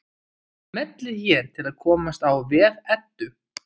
Smellið hér til að komast á vef Eddu.